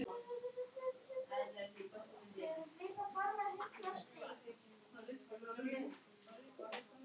Sandel, hvað er jörðin stór?